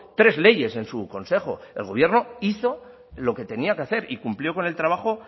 tres leyes en su consejo el gobierno hizo lo que tenía que hacer y cumplió con el trabajo